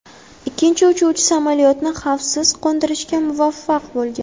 Ikkinchi uchuvchi samolyotni xavfsiz qo‘ndirishga muvaffaq bo‘lgan.